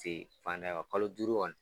Se fanda ye kalo duuru kɔni.